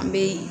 An bɛ